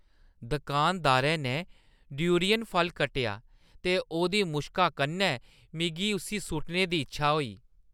दुकानदारै ने डूरियन फल कट्टेआ ते ओह्दी मुश्का कन्नै मिगी उस्सी सु'ट्टने दी इच्छेआ होई।